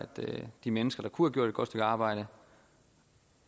de mennesker der kunne have gjort et godt stykke arbejde